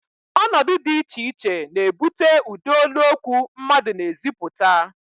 Ọnọdụ dị iche iche na-ebute ụdị olu okwu mmadụ na-ezipụta